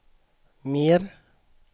mer